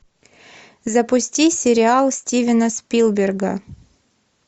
запусти сериал стивена спилберга